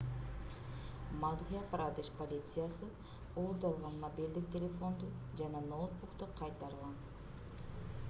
мадхья-прадеш полициясы уурдалган мобилдик телефонду жана ноутбукту кайтарган